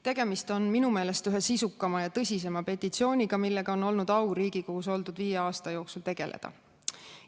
Tegemist on minu meelest ühe sisukama ja tõsisema petitsiooniga, millega mul on olnud au Riigikogus oldud viie aasta jooksul tegeleda.